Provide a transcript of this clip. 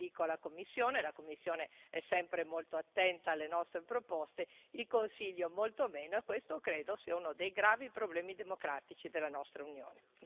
Non dico la Commissione, la Commissione è sempre molto attenta alle nostre proposte, il Consiglio lo è molto meno, e questo credo sia uno dei gravi problemi democratici della nostra Unione.